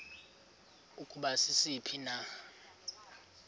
ukuba sisiphi na